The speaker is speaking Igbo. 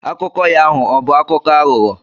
Akụkọ ya ahụ ọbụ akụkọ aghụghọ?